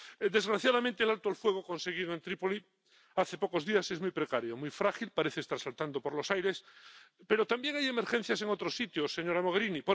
Desgraciadamente, el alto el fuego conseguido en Trípoli hace pocos días es muy precario, muy frágil parece estar saltando por los aires. Pero también hay emergencias en otros sitios, señora Mogherini